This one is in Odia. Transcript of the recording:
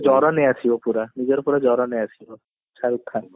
ଆସିବ ପୁରା new year ପୁରା ଜର ନେଇ ଆସିବ ଶାହରୁଖ ଖାନ ର